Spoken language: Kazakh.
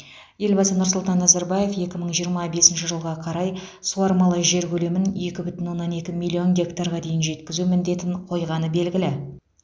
елбасы нұрсұлтан назарбаев екі мың жиырма бесінші жылға қарай суармалы жер көлемін екі бүтін оннан екі миллион гектарға дейін жеткізу міндетін қойғаны белгілі